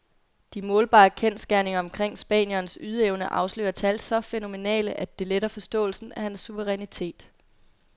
De målbare kendsgerninger omkring spanierens ydeevne afslører tal så fænomenale, at det letter forståelsen af hans suverænitet.